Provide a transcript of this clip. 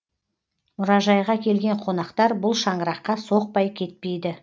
мұражайға келген қонақтар бұл шаңыраққа соқпай кетпейді